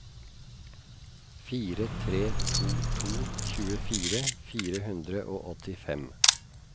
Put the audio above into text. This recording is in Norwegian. fire tre to to tjuefire fire hundre og åttifem